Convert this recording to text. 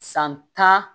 San tan